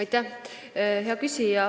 Aitäh, hea küsija!